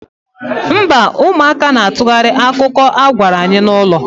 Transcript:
Mba, ụmụaka na-atụgharị akụkọ a gwara anyị n'ụlọ.